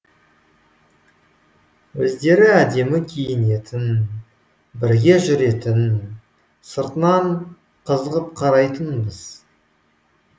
өздері әдемі киінетін бірге жүретін сыртынан қызығып қарайтынбыз